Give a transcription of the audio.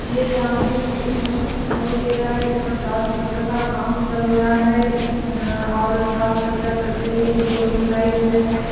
यह सामने हमें एक मंच दिखाई दे रहा है जहां साज-सज्जा का काम चल रहा है अऽ और साज-सज्जा करते हुए भी लोग दिखाई दे रहे हैं।